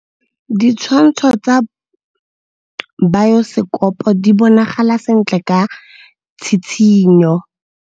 Ditshwantshô tsa biosekopo di bonagala sentle ka tshitshinyô.